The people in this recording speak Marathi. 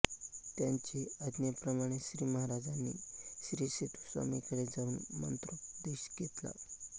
त्यांचे आज्ञेप्रमाणे श्री महाराजांनी श्रीसेतुस्वामींकडे जाऊन मंत्रोपदेश घेतला